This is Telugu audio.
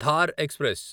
థార్ ఎక్స్ప్రెస్